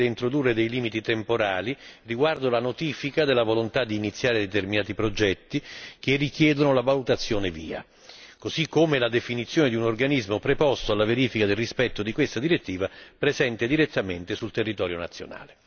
Penso che sarebbe stato più utile introdurre dei limiti temporali riguardo alla notifica della volontà di iniziare determinati progetti che richiedono la valutazione VIA, così come la definizione di un organismo preposto alla verifica del rispetto di questa direttiva presente direttamente sul territorio nazionale.